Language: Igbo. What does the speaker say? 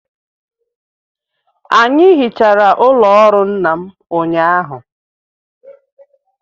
Anyị hichara ụlọ ọrụ nna m ụnyahụ